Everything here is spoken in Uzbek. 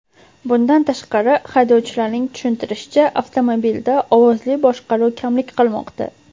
Bundan tashqari, haydovchilarning tushuntirishicha, avtomobilda ovozli boshqaruv kamlik qilmoqda.